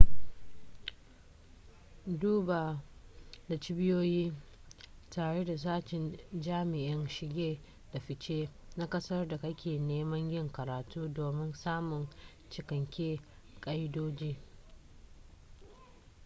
duba da cibiyoyi tare da sashen jami'in shige da fice na kasar da kake neman yin karatu domin samun cikaken ka'idoji